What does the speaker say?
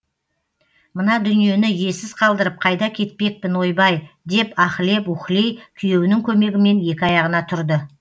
мына дүниені иесіз қалдырып қайда кетпекпін ойбай деп аһілеп уһілей күйеуінің көмегімен екі аяғына тұрды